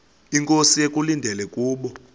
inkosi ekulindele kubo